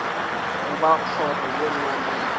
goba kgoro ye nngwe le